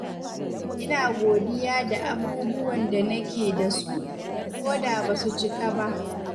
Ina godiya da abubuwan da nake da su, koda ba su cika ba.